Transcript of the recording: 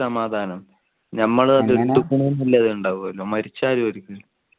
സമാധാനം ഞമ്മള് ഉണ്ടാവുമല്ലോ മരിച്ച